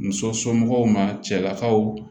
Muso so somɔgɔw ma cɛlakaw